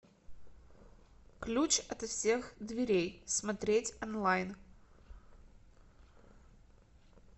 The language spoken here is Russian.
ключ от всех дверей смотреть онлайн